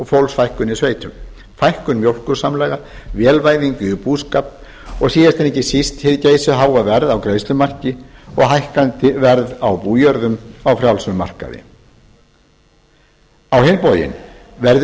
fólksfækkun í sveitum fækkun mjólkursamlaga vélvæðingu í búskap og síðast en ekki síst hið geysiháa verð á greiðslumarki og hækkandi verð á bújörðum á frjálsum markaði á hinn bóginn verður